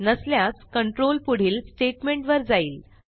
नसल्यास कंट्रोल पुढील स्टेटमेंट वर जाईल